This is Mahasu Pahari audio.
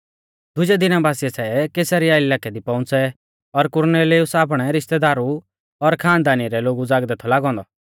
दुजै दिना बासीऐ सै कैसरिया इलाकै दी पौउंच़ै और कुरनेलियुस आपणै रिश्तेदारु और खानदानी रै लोगु ज़ागदै थौ लागौ औन्दौ